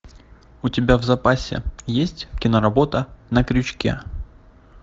у тебя в запасе есть киноработа на крючке